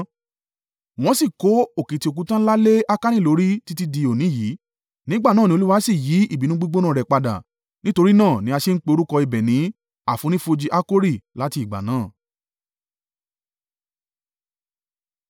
Wọ́n sì kó òkìtì òkúta ńlá lé Akani lórí títí di òní yìí. Nígbà náà ní Olúwa sì yí ìbínú gbígbóná rẹ̀ padà. Nítorí náà ni a ṣe ń pe orúkọ ibẹ̀ ní àfonífojì Akori láti ìgbà náà.